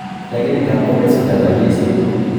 Lakini ngap komesulda kanyaiset